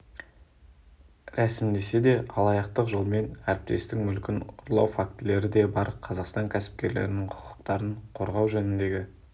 рәсімдесе де алаяқтық жолмен әріптестің мүлкін ұрлау фактілері де бар қазақстан кәсіпкерлерінің құқықтарын қорғау жөніндегі